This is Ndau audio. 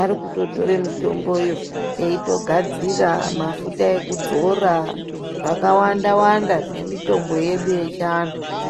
Arikutotore mitomboyo veitogadzira mafuta ekudzora zvakawanda-wanda, nemitombo yedu yechivantu iyi.